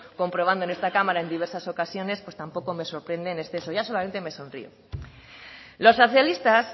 comprobando en esta cámara en diversas ocasiones tampoco me sorprende en exceso ya solamente me sonrió los socialistas